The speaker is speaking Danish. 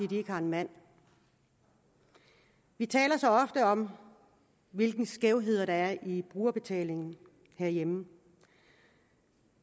de ikke har en mand vi taler så ofte om hvilke skævheder der er i brugerbetaling herhjemme